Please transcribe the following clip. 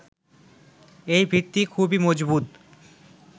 এই ভিত্তি খুবই মজবুত।